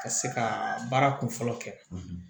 Ka se ka baara kunfɔlɔ kɛ